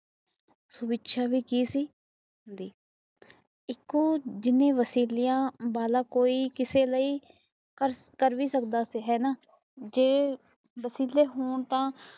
ਲਿਖਿਆ ਵੀ ਕੇ ਸੀ ਏਕੋ ਜਿਵੇ ਵਸੀਲਿਆਂ ਵਾਲਾ ਕੋਈ ਕਿਸੇ ਲਿਆ ਕਰ ਵੀ ਸਕਦਾ ਹਾਣਾ ਜੇ ਵਸੀਲੇ ਹੋਣ ਤਾ